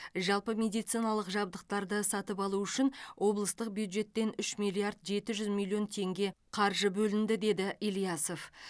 жалпы медициналық жабдықтарды сатып алу үшін облыстық бюджеттен үш миллиард жеті жүз миллион теңге қаржы бөлінді деді ильясов